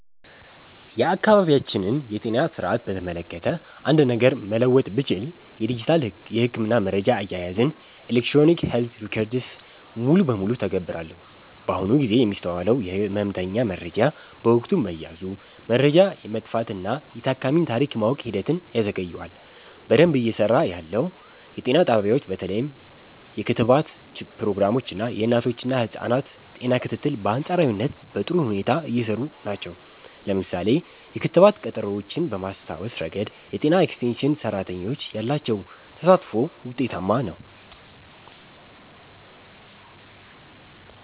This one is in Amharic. የአካባቢያችንን የጤና ሥርዓት በተመለከተ አንድ ነገር መለወጥ ብችል፣ የዲጂታል የሕክምና መረጃ አያያዝን (Electronic Health Records) ሙሉ በሙሉ እተገብራለሁ። በአሁኑ ጊዜ የሚስተዋለው የሕመምተኛ መረጃ በወረቀት መያዙ፣ መረጃ የመጥፋትና የታካሚን ታሪክ የማወቅ ሂደትን ያዘገየዋል። በደንብ እየሰራ ያለው፦ የጤና ጣቢያዎች በተለይም የክትባት ፕሮግራሞች እና የእናቶችና ህፃናት ጤና ክትትል በአንፃራዊነት በጥሩ ሁኔታ እየሰሩ ናቸው። ለምሳሌ፣ የክትባት ቀጠሮዎችን በማስታወስ ረገድ የጤና ኤክስቴንሽን ሰራተኞች ያላቸው ተሳትፎ ውጤታማ ነው።